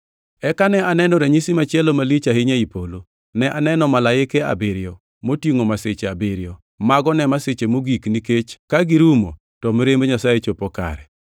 Eka ne aneno ranyisi machielo malich ahinya ei polo: Ne aneno Malaike abiriyo, motingʼo masiche abiriyo, mago ne masiche mogik nikech ka girumo to mirimb Nyasaye chopo kare.